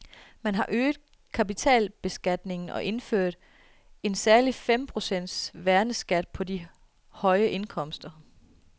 Man har øget kapitalbeskatningen og indført en særlig fem procents værneskat på de høje indkomster.